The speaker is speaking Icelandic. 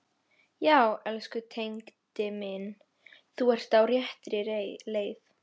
Já, elsku Tengdi minn, þú ert á réttri leið.